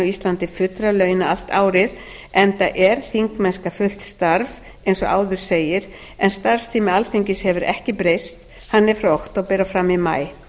íslandi fullra launa allt árið enda er þingmennska fullt starf eins og áður segir en starfstími alþingis hefur ekki breyst hann er frá október og fram í maí